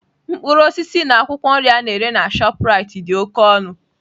Mkpụrụ osisi na akwụkwọ nri a na-ere na Shoprite dị oke ọnụ.